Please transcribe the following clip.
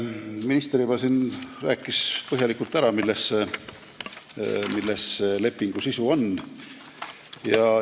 Minister juba rääkis siin põhjalikult ära, milles on selle lepingu sisu.